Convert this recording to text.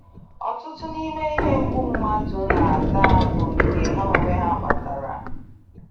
Ọtụtụ n’ime ihe mgbu mmadụ na-ata bụ nke ha onwe ha kpatara.